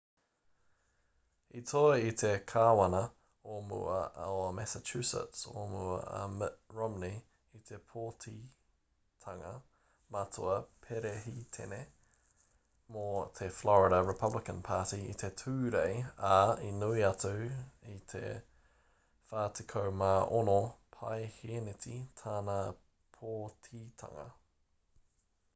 i toa i te kāwana o mua o massachusetts o mua,a mitt romney i te pōtitanga matua perehitene mō te florida republican party i te tūrei ā i nui atu i te 46 paehēneti tāna pōtitanga